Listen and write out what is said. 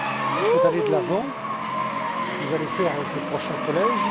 Il faut aller de l'avant, c'est ce que vous allez faire avec le prochain collège.